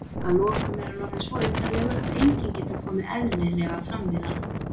að lokum er hann orðinn svo undarlegur að enginn getur komið eðlilega fram við hann.